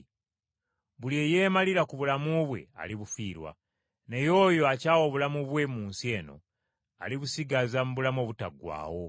Buli eyeemalira ku bulamu bwe alibufiirwa, naye oyo akyawa obulamu bwe mu nsi eno, alibusigaza mu bulamu obutaggwaawo.